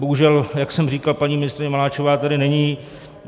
Bohužel, jak jsem říkal, paní ministryně Maláčová tady není.